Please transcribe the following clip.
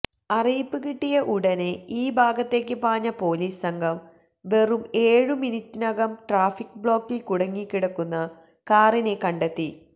അറിയിപ്പ് കിട്ടിയ ഉടനെ ഈ ഭാഗത്തേക്ക് പാഞ്ഞ പൊലീസ് സംഘം വെറും ഏഴുമിനിറ്റിനകം ട്രാഫിക് ബ്ലോക്കില് കുടുങ്ങിക്കിടക്കുന്ന കാറിനെ കണ്ടെത്തി